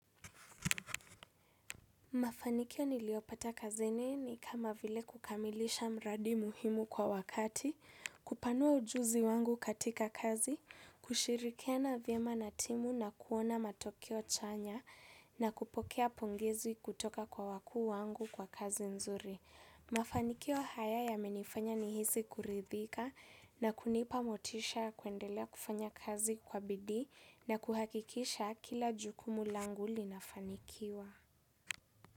Mafanikio niliopata kazini ni kama vile kukamilisha mradi muhimu kwa wakati, kupanua ujuzi wangu katika kazi, kushirikiana vyema na timu na kuona matokeo chanya na kupokea pongezi kutoka kwa wakuu wangu kwa kazi nzuri. Mafanikio haya yamenifanya nihisi kuridhika na kunipa motisha kuendelea kufanya kazi kwa bidii na kuhakikisha kila jukumu langu linafanikiwa.